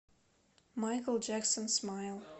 майкл джексон смайл